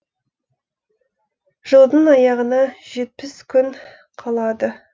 жылдың аяғына жетпіс күн қалады